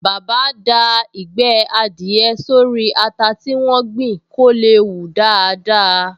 Bàbá da Ìgbẹ́ adìẹ sórí ata tí wọ́n gbìn kó lè hù daádáa